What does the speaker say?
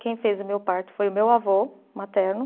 Quem fez o meu parto foi o meu avô materno.